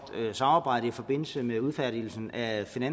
samarbejde i forbindelse med udfærdigelsen af